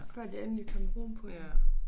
Før der endelig kom ro på igen